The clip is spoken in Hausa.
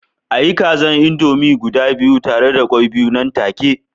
A yi kaza indomie guda biyu tare da kwai biyu nan take